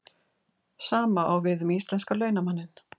Sama á við um íslenska launamanninn.